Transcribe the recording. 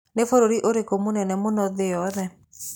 Nĩ bũrũri ũrĩkũ mũnene mũno thĩ yothe?